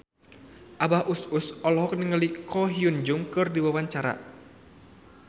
Abah Us Us olohok ningali Ko Hyun Jung keur diwawancara